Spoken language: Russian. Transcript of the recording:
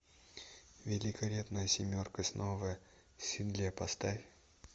великолепная семерка снова в седле поставь